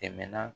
Tɛmɛna